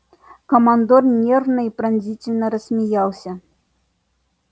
командор нервно и пронзительно рассмеялся